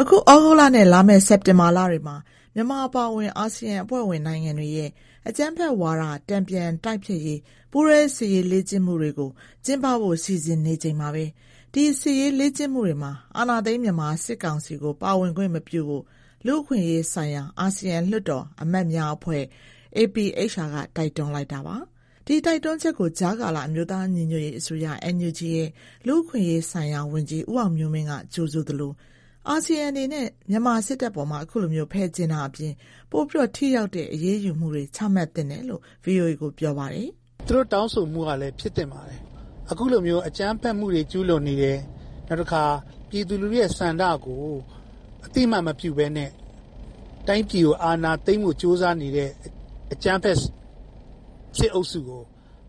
အခု သြဂုတ်လနဲ့ လာမယ့် စက်တင်ဘာလတွေမှာ မြန်မာအပါအဝင် အာဆီယံအဖွဲ့ဝင် နိုင်ငံတွေရဲ့ အကြမ်းဖက်ဝါဒ တန်ပြန်တိုက်ဖျက်ရေး ပူးတွဲစစ်ရေး လေ့ကျင့်မှုတွေ ကျင်းပဖို့ စီစဥ်နေချိန်မှာပဲ ဒီစစ်ရေးလေ့ကျင့်မှုတွေမှာ အာဏာသိမ်း မြန်မာစစ်ကောင်စီကို ပါဝင်ခွင့် မပြုဖို့ လူ့အခွင့်အရေးဆိုင်ရာ အာဆီယံ လွှတ်တော် အမတ်အဖွဲ့ က တိုက်တွန်းလိုက်တာပါ။ ဒီတိုက်တွန်းချက်ကို ကြားကာလ အမျိုးသား ညီညွတ်ရေးအစိုးရ NUG ရဲ့ လူ့အခွင့်အရေးဆိုင်ရာ ဝန်ကြီး ဦးအောင်မျိုးမင်း က ကြိုဆိုသလို၊ အာဆီယံအနေနဲ့ မြန်မာစစ်တပ်အပေါ် ခုလို ဖယ်ကြဥ်တာအပြင် ပိုပြီး ထိရောက်တဲ့ အရေးယူမှုတွေ ချမှတ်သင့်တယ်လို့ ဗွီအိုအေကို ပြောပါတယ်။ "သူတို့တောင်းဆိုမှုက ဖြစ်သင့်ပါတယ်။ အခုလိုမျိုး အကြမ်းဖက်မှုတွေ ကျူးလွန်နေတယ်။ နောက်တခါ ပြည်သူ့ဆန္ဒကို အသိအမှတ်မပြုဘဲနဲ့ တိုင်းပြည်အာဏာသိမ်းဖို့ ကြိုးစားနေတဲ့ အကြမ်းဖက်စစ်အုပ်စုကို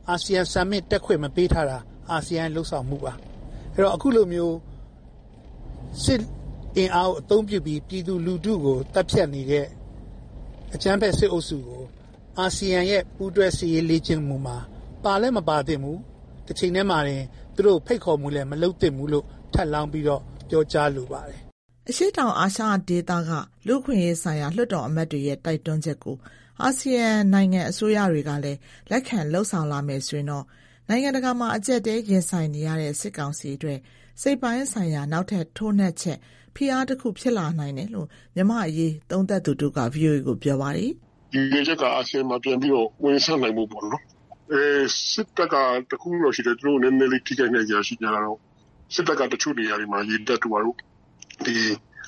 အာဆီယံ summit တက်ခွင့်မပေးထားတာ အာဆီယံ ရဲ့ လုပ်ဆောင်မှုပါ။ အခုလိုမျိုး စစ်အင်အား အသုံးပြုပြီး ပြည်သူလူထုကို သတ်ဖြတ်နေတဲ့ အကြမ်းဖက်စစ်အုပ်စုကို အာဆီယံရဲ့ ပူးတွဲ စစ်ရေးလေ့ကျင့်မှုမှာ ပါလည်း မပါသင့်ဘူး။ တချိန်ထဲမှာတင် သူတို့ကို ဖိတ်ခေါ်မှု မလုပ်သင့်ဘူးလို့ ထပ်လောင်း ပြောကြားလိုပါတယ်။" အရှေ့တောင်အာရှဒေသက လူ့အခွင့်အရေးဆိုင်ရာ လွှတ်တော်အမတ်တွေရဲ့ တိုက်တွန်းချက်ကို အာဆီယံနိုင်ငံ အစိုးရတွေကလည်း လက်ခံ လုပ်ဆောင်လာမယ် ဆိုရင်တော့ နိုင်ငံတကာမှာ အကျပ်အတည်း ရင်ဆိုင်နေရတဲ့ စစ်ကောင်စီအတွက် စိတ်ပိုင်းဆိုင်ရာ နောက်ထပ် ထိုးနှက်ချက်၊ ဖိအားတခု ဖြစ်လာနိုင်တယ်လို့ မြန်မာ့အရေး သုံးသပ်သူတဦးက ဗွီအိုအေကို ပြောပါတယ်။ "ရည်ရွယ်ချက်က အာဆီယံမှာ ပြန်ဝင်ဆံ့နိုင်အောင်လို့ပေါ့။ စစ်တပ်ဘက်က တခုရှိတယ်။ သူတို့ နည်းနည်းလေး ထိခိုက်နိုင်စရာ ရှိတာကတော့ စစ်တပ်က တချို့နေရာတွေမှာ၊ ဥပမာ − ရေတပ်တို့ ဘာတို့မှာ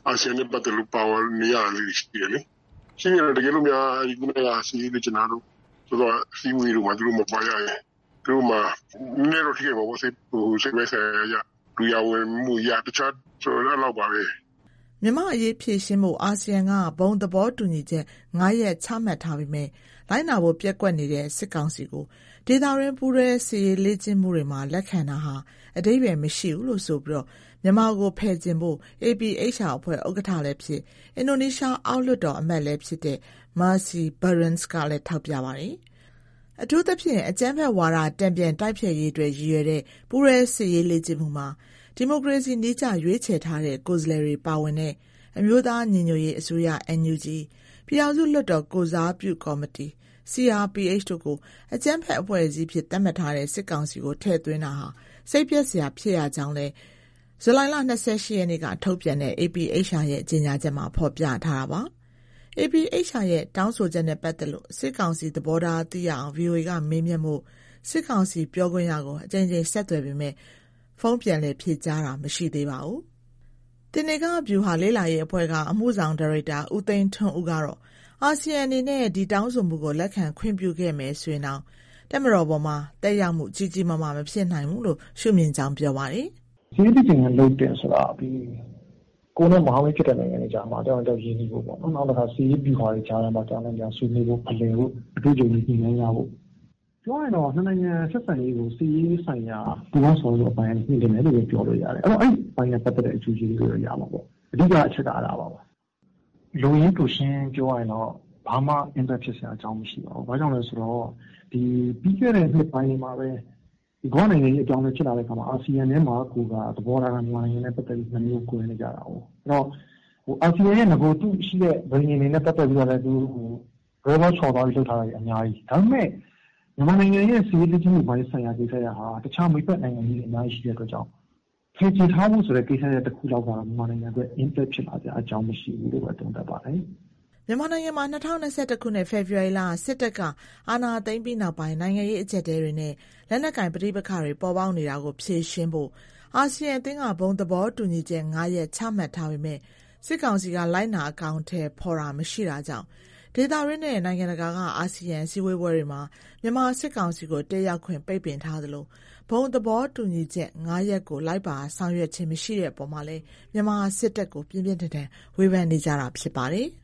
အာဆီယံနဲ့ပတ်သတ်လို့ နေရာမရတာလေးတွေ ရှိသေးတယ်လေ။ ရှိတော့ တကယ်လို့ ခုနက စစ်ရေး လေ့ကျင့်တာတို့ အစည်းအဝေးတွေမှာပါ သူတို့မပါရရင် စိတ်ပိုင်းဆိုင်ရာအရ လူရာဝင်မှုအရ နည်းနည်းတော့ ထိခိုက်မှာပေါ့။" မြန်မာ့အရေး ဖြေရှင်းဖို့ အာဆီယံက ဘုံသဘောတူညီချက် ၅ ရပ် ချမှတ်ထားပေမယ့် လိုက်နာဖို့ ပျက်ကွက်နေတဲ့ စစ်ကောင်စီကို ဒေသတွင်း ပူးတွဲ စစ်ရေးလေ့ကျင့်မှုတွေမှာ လက်ခံတာဟာ အဓိပ္ပါယ် မရှိဘူးလို့ဆိုပြီး မြန်မာကို ဖယ်ကြဉ်ဖို့ APHR အဖွဲ့ ဥက္ကဋ္ဌလည်းဖြစ်၊ အင်ဒိုနီးရှား အောက်လွှတ်တော် အမတ်လည်းဖြစ်တဲ့ Mercy Barends ကလည်း ထောက်ပြထားတာပါ။ အထူးသဖြင့် အကြမ်းဖက်ဝါဒ တန်ပြန် တိုက်ဖျက်ရေးအတွက် ရည်ရွယ်တဲ့ ပူးတွဲစစ်ရေးလေ့ကျင့်မှုမှာ ဒီမိုကရေစီနည်းကျ ရွေးချယ်ထားတဲ့ ကိုယ်စားလှယ်တွေ ပါဝင်တဲ့ အမျိုးသား ညီညွတ်ရေးအစိုးရ ၊ ပြည်ထောင်စုလွှတ်တော် ကိုယ်စားပြုကော်မတီ တို့ကို အကြမ်းဖက် အဖွဲ့အစည်း အဖြစ် သတ်မှတ်ထားတဲ့ စစ်ကောင်စီကို ထည့်သွင်းတာဟာ စိတ်ပျက်စရာ ဖြစ်ရကြောင်းလည်း ဇူလိုင်လ ၂၈ ရက်နေ့က ထုတ်ပြန်တဲ့ APHR ရဲ့ ကြေညာချက်မှာ ဖော်ပြထားပါတယ်။ APHR ရဲ့ တောင်းဆိုချက်နဲ့ ပတ်သက်လို့ စစ်ကောင်စီ သဘောထား သိရအောင် ဗွီအိုအေက မေးမြန်းဖို့ စစ်ကောင်စီပြောခွင့်ရကို အကြိမ်ကြိမ် ဆက်သွယ်ပေမယ့် ဖုန်း ပြန်လည် ဖြေကြားတာ မရှိသေးပါဘူး။ သေနင်္ဂဗျူဟာ လေ့လာရေးအဖွဲ့က အမှုဆောင်ဒါရိုက်တာ ဦးသိန်းထွန်းဦး ကတော့ အာဆီယံ အနေနဲ့ ဒီတောင်းဆိုမှုကို လက်ခံခွင့်ပြုခဲ့မယ် ဆိုရင်တောင် တပ်မတော်အပေါ်မှာ သက်ရောက်မှု ကြီးကြီးမားမား မဖြစ်နိုင်ဘူးလို့ ရှုမြင်ကြောင်း ပြောပါတယ်။ "အမှန်ကတော့ စစ်ရေး လေ့ကျင့်ခန်း လုပ်တာကတော့ ကိုယ်နဲ့ မဟာမိတ်ဖြစ်တဲ့ နိုင်ငံတွေကြား တယောက်နဲ့တယောက် ရင်းနှီးဖို့ပေါ့။ စစ်ရေး ဗျူဟာတွေကြား တယောက်နဲ့တယောက် ဖလှယ်ဖို့ အတွေ့အကြုံတွေ ညှိုနှိုင်းကြဖို့။ ပြောရရင်တော့ နှစ်နိုင်ငံဆက်ဆံရေးကို စစ်ရေးဆိုင်ရာ ပူးပေါင်းဆောင်ရွက်ဖို့ မြှင့်တင်တယ်လို့ ပြောလို့ရတယ်။ အဲအပိုင်းနဲ့ ပတ်သတ်တဲ့ အကျိုးကျေးဇူးတွေရမှာပေါ့။ အဓိက အချက်က အဲဒါပါပဲ။ လိုရင်းတိုရှင်း ပြောရရင်တော့ ဘာမှ impact ဖြစ်စရာ အကြောင်းမရှိပါဘူး။ ဘာလို့လဲ ဆိုတော့ ကမ္ဘာနိုင်ငံရေး အပြောင်းအလဲ ဖြစ်လာတာမှာ အာဆီယံထဲမှာကိုက သဘောထားက မြန်မာနိုင်ငံအတွက် သဘောထား ၂ မျိုးကွဲနေကြတာ။ အာဆီယံရှိနေတဲ့ ပဋိဉာဉ်တွေနဲ့ ပတ်သတ်ပြီးတော့ လွဲလွဲချော်ချော်တွေက အများကြီး။ မြန်မာနိုင်ငံအတွက်က တခြား စစ်ရေးလေ့ကျင့်ဖို့ မိတ်ဖက်နိုင်ငံတွေက အများကြီး။ ဖယ်ကြဥ်ထားဖို့ တခုထဲအတွက်က မြန်မာနိုင်ငံအတွက် impact ဖြစ်စရာ အကြောင်းမရှိဘူးလို့ပဲ သုံးသပ်ပါတယ်။" မြန်မာနိုင်ငံမှာ ၂၀၂၁ ခုနှစ် ဖေဖော်ဝါရီလ စစ်တပ်က အာဏာသိမ်းပြီးနောက်ပိုင်း နိုင်ငံရေး အကျပ်အတည်းတွေနဲ့ လက်နက်ကိုင် ပဋိပက္ခတွေ ပေါ်ပေါက်နေတာကို ဖြေရှင်းနိုင်ဖို့ အာဆီယံအသင်းက ဘုံသဘောတူညီချက် ၅ ရပ် ချမှတ်ထားပေမယ့် စစ်ကောင်စီက လိုက်နာ အကောင်အထည် ဖော်တာ မရှိတာကြောင့် ဒေသတွင်းနဲ့ နိုင်ငံတကာက အာဆီယံ စည်းဝေးပွဲတွေမှာ မြန်မာစစ်ကောင်စီကို တက်ရောက်ခွင့် ပိတ်ပင်ထားသလို၊ ဘုံသဘောတူညီချက် ၅ ရပ်ကို လိုက်ပါ ဆောင်ရွက်ခြင်း မရှိတဲ့အပေါ်မှာလည်း မြန်မာစစ်တပ်ကို ပြင်းပြင်းထန်ထန် ဝေဖန်နေကြတာ ဖြစ်ပါတယ်။